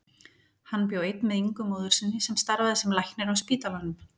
Hann bjó einn með Ingu móður sinni sem starfaði sem læknir á spítalanum.